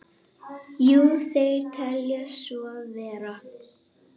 Jú, þeir telja svo vera.